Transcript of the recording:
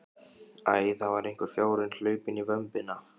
Æ, það er einhver fjárinn hlaupinn í vömbina.